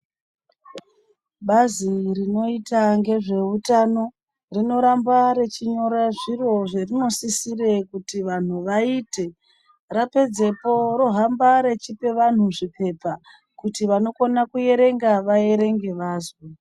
Bazi rinoita ngezveutano rinoramba richiite zviro zverinosisira kuti vantu vaite rapedzepo rohamba rechipe vantu zvipepa kuti vanokone kuerenga vaerenge vazwe.